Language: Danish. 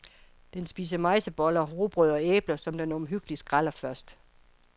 Den spiser mejseboller, rugbrød og æbler, som den omhyggeligt skræller først.